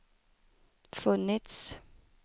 funnits